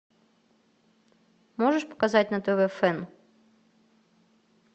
можешь показать на тв фэн